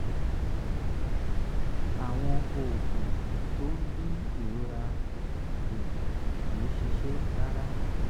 àwọn oògùn um tó ń dín ìrora um kù kì í ṣiṣẹ́ rárá